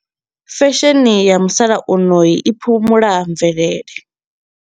Fesheni ya musalauno i i phumula mvelele.